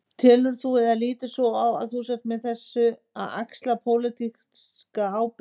Telur þú, eða lítur svo á að þú sért með þessu að axla pólitíska ábyrgð?